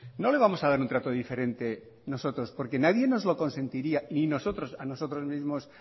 no le vamos a dar un trato diferente nosotros porque nadie nos lo consentiría ni nosotros a nosotros mismos